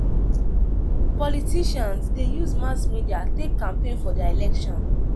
Politicians de use mass media take campaign for their election